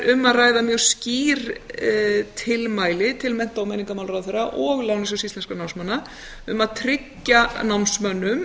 ræða mjög skýr tilmæli til mennta og menningarmálaráðherra og lánasjóðs íslenskra námsmanna um að tryggja námsmönnum